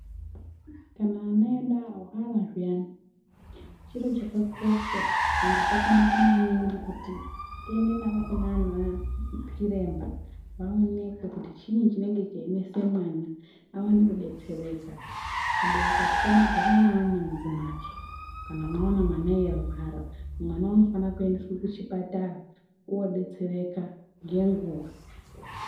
Kana vana vedu varwara zviyani chiro chakakosha ende chakanaka maningi kuti tiende navo kunana Chiremba vaonekwe kuti chiinyi chinenge cheinesa mwana awane kudetsereka abereki atifani kugara neana mudzimhatso kana mwaona mwana eirwara mwana unofana kuendeswa kuchipatara odetsereka nenguwa